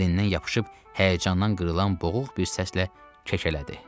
Əlindən yapışıb həyəcandan qırılan boğuq bir səslə kəkələdi.